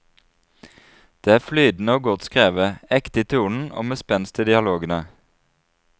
Det er flytende og godt skrevet, ekte i tonen og med spenst i dialogene.